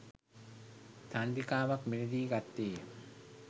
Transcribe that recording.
චන්ද්‍රිකාවක් මිලදී ගත්තේය.